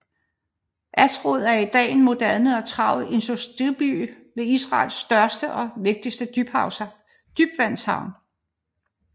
Ashdod er i dag en moderne og travl industriby med Israels største og vigtigste dybvandshavn